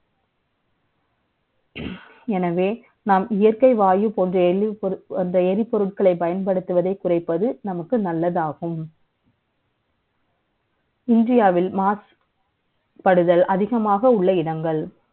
எனவே, நாம் இயற்கை வாயு ப ோன்ற எளிய அந்த எரிப ொருட்களை பயன்படுத்துவதை குறை ப்பது நமக்கு நல்லதாகும் இந்தியாவில் மாசுபடுதல் அதிகமாக உள்ள இடங்கள்